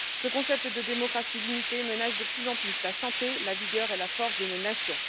Ce concept de démocratie limitée menace de plus en plus la santé, la vigueur et la force de nos nations.